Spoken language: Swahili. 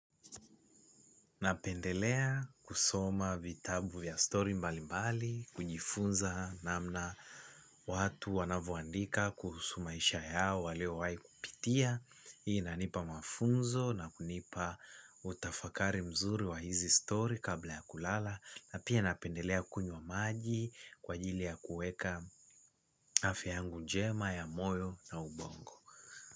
Napendelea kusoma vitabu vya story mbalimbali, kujifunza namna watu wanavoandika kuhusu maisha yao waliowahi kupitia. Hii inanipa mafunzo na kunipa utafakari mzuri wa hizi story kabla ya kulala na pia napendelea kunywa maji kwa ajili ya kuweka afya yangu njema ya moyo na ubongo.